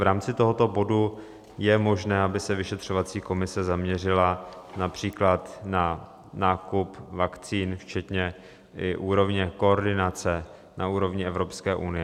V rámci tohoto bodu je možné, aby se vyšetřovací komise zaměřila například na nákup vakcín včetně i úrovně koordinace na úrovni Evropské unie.